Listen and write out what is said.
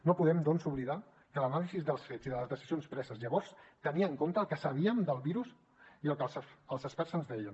no podem doncs oblidar que l’anàlisi dels fets i de les decisions preses llavors tenien en compte el que sabíem del virus i el que els experts ens deien